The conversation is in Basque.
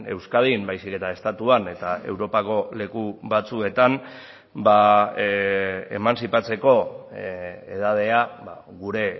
euskadin baizik eta estatuan eta europako leku batzuetan emantzipatzeko edadea gure